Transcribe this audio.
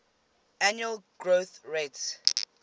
annual growth rate